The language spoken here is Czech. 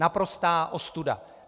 Naprostá ostuda.